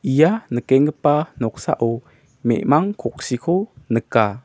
ia nikenggipa noksao me·mang koksiko nika.